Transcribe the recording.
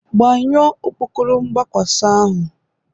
Gbanyụọ okpokoro mgbakwasa ahụ